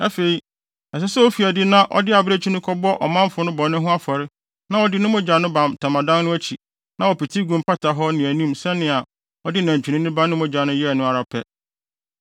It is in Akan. “Afei, ɛsɛ sɛ ofi adi na ɔde abirekyi no kɔbɔ ɔmanfo no bɔne ho afɔre na wɔde ne mogya no ba ntwamtam no akyi na wɔpete gu mpata hɔ ne anim sɛnea ɔde nantwinini ba no mogya no yɛe no ara pɛ.